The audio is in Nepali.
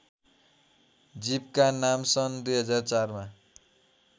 जीवका नामसन् २००४ मा